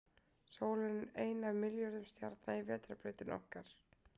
Sólin er ein af milljörðum stjarna í Vetrarbrautinni okkar.